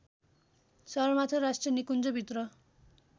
सगरमाथा राष्ट्रिय निकुञ्जभित्र